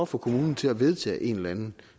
få kommunen til at vedtage en eller anden